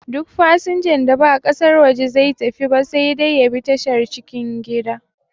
Duk fasanjan da ba ƙasar waje zai tafi ba sai dai ya bi tashar cikin gida